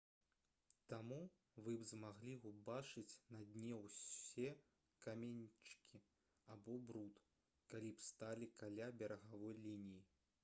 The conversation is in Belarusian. таму вы б змаглі ўбачыць на дне ўсе каменьчыкі або бруд калі б сталі каля берагавой лініі